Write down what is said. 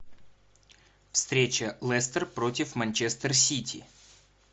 встреча лестер против манчестер сити